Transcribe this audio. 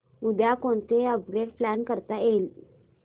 उद्या कोणतं upgrade plan करता येईल